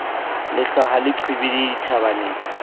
lehlwa ha le qhibidiha dithabeng